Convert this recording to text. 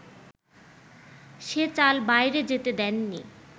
সে চাল বাইরে যেতে দেননি